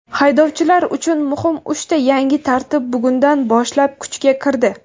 Haydovchilar uchun muhim uchta yangi tartib bugundan boshlab kuchga kirdi.